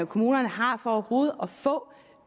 kommunerne har for overhovedet